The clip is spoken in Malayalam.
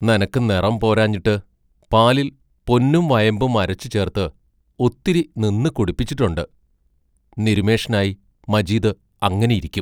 നിനക്ക് നെറം പോരാഞ്ഞിട്ടു പാലിൽ പൊന്നും വയമ്പും അരച്ചു ചേർത്ത് ഒത്തിരി നിന്ന് കുടിപ്പിച്ചിട്ടൊണ്ട് നിരുന്മേഷനായി മജീദ് അങ്ങനെ ഇരിക്കും.